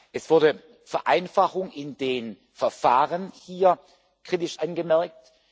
Es wurde Vereinfachung in den Verfahren hier kritisch angemerkt.